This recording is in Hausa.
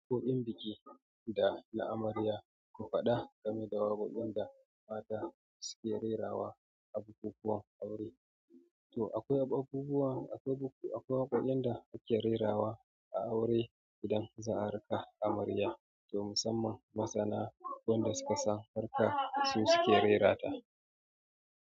Kuɗin biki da na amarya ko faɗa, gameda da waƙoƙin da mata suke rerawa a bukukuwan aure. To akwai bukukuwan, akwai waƙoƙin da suke rerawa a aure idan za a raka amarya. To musamman masana, waɗanda suka san harka su suke rerata.